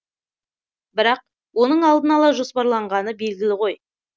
бірақ оның алдын ала жоспарланғаны белгілі ғой